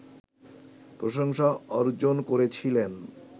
প্রশংসা অর্জন করেছিলেন